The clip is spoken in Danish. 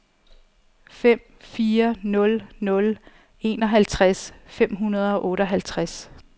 fem fire nul nul enoghalvtreds fem hundrede og otteoghalvtreds